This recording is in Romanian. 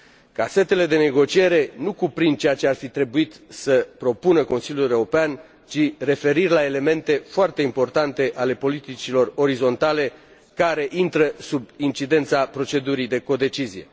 Casetele de negociere nu cuprind ceea ce ar fi trebuit să propună Consiliul European, ci referiri la elemente foarte importante ale politicilor orizontale care intră sub incidența procedurii de codecizie.